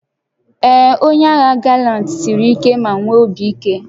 Ee, onye agha galant siri ike ma nwee obi ike